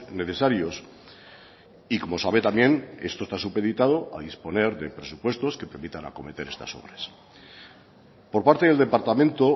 necesarios y como sabe también esto está supeditado a disponer de presupuestos que permitan acometer estas obras por parte del departamento